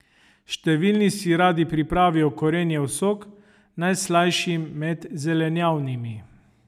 Številni si radi pripravijo korenjev sok, najslajši med zelenjavnimi.